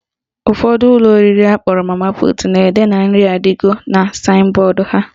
Ụfọdụ ụlọ oriri akpọrọ mama put na-ede na "nri adigo" na saịn bọọdụ ha.